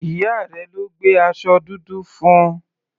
Ìyá rẹ̀ ló gbé aṣọ dúdú fún.